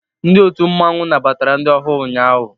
Ndi ọtu mmanwu nnabatara ndi ọhuu ụnyaahụ.